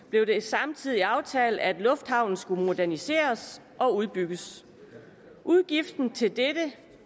blev det samtidig aftalt at lufthavnen skulle moderniseres og udbygges udgiften til dette